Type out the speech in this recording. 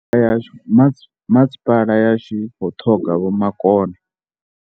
Masipala yashu i khou ṱhoga vhomakone.